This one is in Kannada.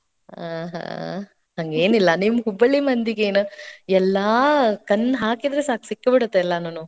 ಆಹಾ, ಹಂಗೇನಿಲ್ಲಾ ನಿಮ್ಮ ಹುಬ್ಬಳ್ಳಿ ಮಂದಿಗೇನ್ ಎಲ್ಲಾ ಕಣ್ ಹಾಕಿದ್ರೆ ಸಾಕು ಸಿಕ್ಕೇ ಬಿಡುತ್ತೆ ಎಲ್ಲಾನುನೂ.